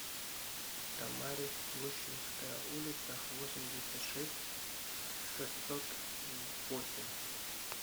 томари гущинская улица восемьдесят шесть в шестьсот восемь